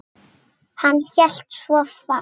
Hann hélt svo fast.